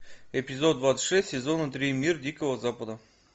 эпизод двадцать шесть сезона три мир дикого запада